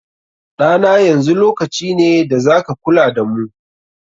Ɗa na, yanzu lokaci ne da za ka kula da mu.